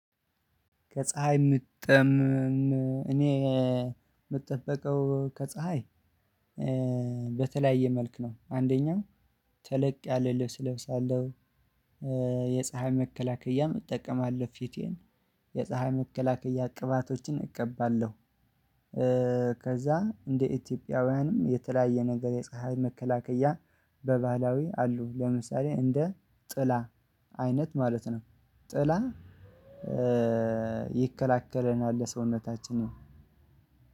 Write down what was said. ከፀሀይ ምጠምም እኔ የምጠበቀው ከፀሀይ በተለያየ መልኩ ነው አንደኛው ተለቅ ያለ ልብስ እለብሳለሁ። የፀሀይ መከላከያ እጠቀማለሁ ፊቴን የፀሀይ መከላከያ ቅባቶችን እቀባለሁ። ከዛ እንደ ኢትዮጵያውያንም የተለያየ ነገር የፀሀይ መከላከያ በባህላዊ አሉ ለምሳሌ እንደ ጥላ አይነት ማለት ነው ጥላ ይከላከለናል። ለሰውነታችንን